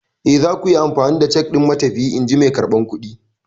Eh, zaku iya amfani da cak ɗin matafiyi, in ji mai karɓar kuɗi.